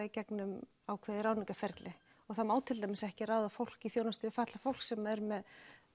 í gegnum ákveðið ráðningarferli og það má til dæmis ekki ráða fólk í þjónustu fatlaðs fólks sem er með